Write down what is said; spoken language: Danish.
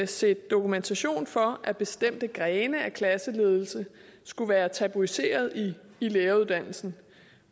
set dokumentation for at bestemte grene af klasseledelse skulle være tabuiseret i læreruddannelsen